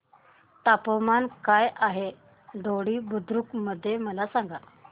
तापमान काय आहे दोडी बुद्रुक मध्ये मला सांगा